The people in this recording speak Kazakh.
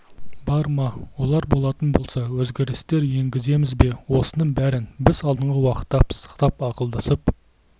бар ма олар болатын болса өзгерістер енгіземіз бе осының бәрін біз алдағы уақытта пысықтап ақылдасып